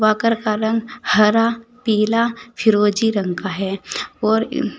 walker का रंग हरा पीला फिरोजी रंग का है और--